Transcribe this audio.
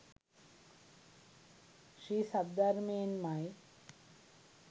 ශ්‍රී සද්ධර්මයෙන් ම යි.